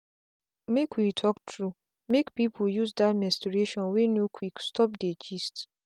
make we talk truemake people use that menstruation wey no quick stop dey gist.